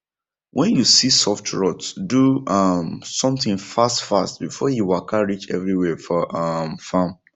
when you see soft rot do um something fast fast before e waka reach everywhere for um farm